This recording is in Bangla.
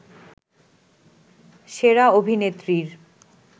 সেরা অভিনেত্রীর